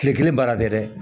Kile kelen baara tɛ dɛ